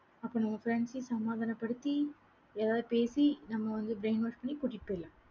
அப்ப நம்ம friends சையும் சமாதானப்படுத்தி ஏதாவது பேசி நம்ம வந்து brainwash பண்ணி கூட்டிட்டு போயிடலாம்.